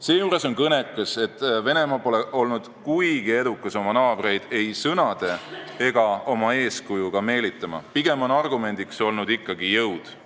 Seejuures on kõnekas, et Venemaa pole olnud kuigi edukas oma naabreid ei sõnade ega eeskujuga meelitama, pigem on argumendiks olnud ikkagi jõud.